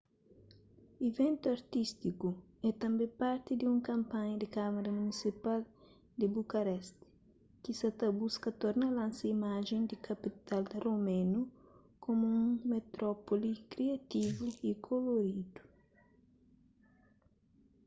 iventu artístiku é tanbê parti di un kanpanha di kâmara munisipal di bucareste ki sa buska torna lansa imajen di kapital romenu komu un metrópoli kriativu y koloridu